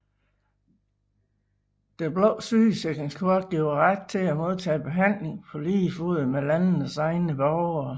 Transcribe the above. Det blå sygesikringskort giver ret til at modtage behandling på lige fod med landenes egne borgere